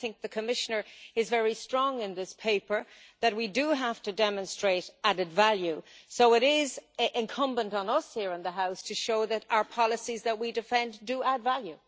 The Commissioner makes the point very strongly in this paper that we have to demonstrate added value, so it is incumbent on us here in the House to show that our policies, which we defend, do add value.